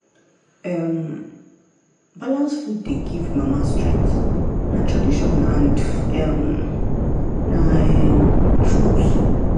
um balanced food dey give mama strength na tradition and um na um truth.